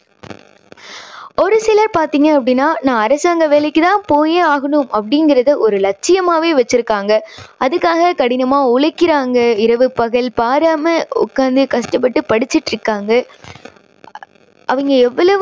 ஒரு சிலர் பார்த்தீங்கன்னா அப்படின்னா நான் அரசாங்க வேலைக்கு தான் போயே ஆகணும் அப்படிங்குறதை ஒரு லட்சியமாவே வெச்சுருக்காங்க. அதுக்காக கடினமா உழைக்கிறாங்க. இரவு பகல் பாராம உக்காந்து கஷ்டப்பட்டு படிச்சுட்டுருக்காங்க அவங்க எவ்வளவு